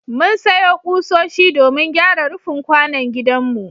Mun sayo ƙusoshi domin gyara rufin kwanon gidanmu.